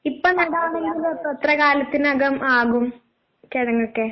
ഇപ്പൊ നടാനുള്ളത് എത്ര കാലത്തിനകം ആകും കിഴങ്ങൊക്കെ?